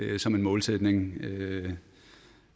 det som en målsætning